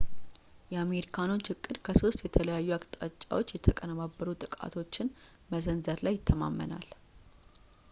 የአሜሪካኖች ዕቅድ ከሶስት የተለያዩ አቅጣጫዎች የተቀነባበሩ ጥቃቶችን መሰንዘር ላይ ይተማመናል